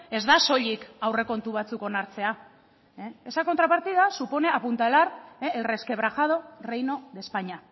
ez da soilik aurrekontu batzuk onartzea esa contrapartida supone apuntalar el resquebrajado reino de españa